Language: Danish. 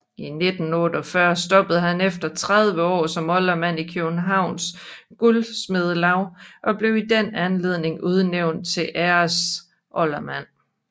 I 1948 stoppede han efter 30 år som oldermand i Københavns Guldsmedelaug og blev i den anledning udnævnt til æresoldermand